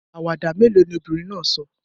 Àwàdà mélòó ni obìnrin náà sọ?